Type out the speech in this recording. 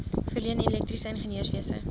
verleen elektriese ingenieurswese